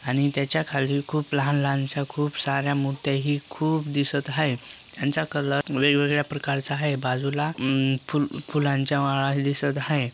आणि त्याच्याखाली खूप लहान लहानश्या खूप सार्‍या मुर्त्या ही खूप दिसत हाय यांचा कलर वेगवेगळ्या प्रकारचा हाय बाजूला अम्म फूल- फुलांच्या माळा दिसत हाय.